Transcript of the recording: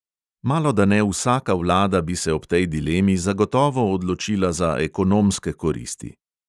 Malodane vsaka vlada bi se ob tej dilemi zagotovo odločila za ekonomske koristi.